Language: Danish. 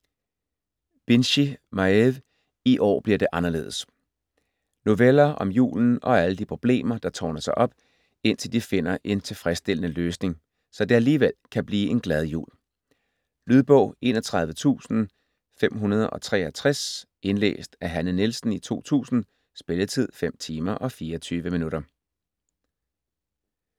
Binchy, Maeve: I år bliver det anderledes Noveller om julen og alle de problemer der tårner sig op, indtil de finder en tilfredsstillende løsning, så det alligevel kan blive en glad jul. Lydbog 31563 Indlæst af Hanne Nielsen, 2000. Spilletid: 5 timer, 24 minutter.